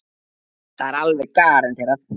Það er alveg garanterað.